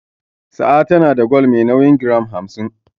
Sa'a na da gwal me nauyin giram hamsin.